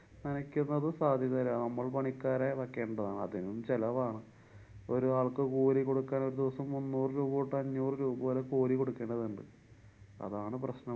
നനക്കുന്നത് സാധ്യതയില്ല. നമ്മള്‍ പണിക്കാരെ വക്കേണ്ടതാണ്. അതിനും ചെലവാണ്. ഒരു ആള്‍ക്ക് കൂലികൊടുക്കാന്‍ ഒരു ദിവസം മുന്നൂറു രൂപതൊട്ടു അഞ്ഞൂറു രൂപ വരെ കൂലി കൊടുക്കേണ്ടതുണ്ട്. അതാണ്‌ പ്രശ്നം‍.